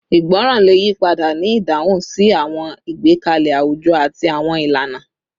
Ìgbọràn le yipada ni idahun si awọn igbekalẹ awujọ ati awọn ilana